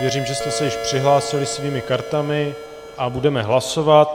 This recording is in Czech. Věřím, že jste se již přihlásili svými kartami a budeme hlasovat.